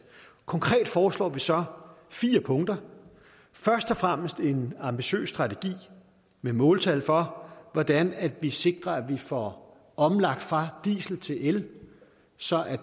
konkret foreslår vi så fire punkter først og fremmest en ambitiøs strategi med måltal for hvordan vi sikrer at vi får omlagt fra diesel til el så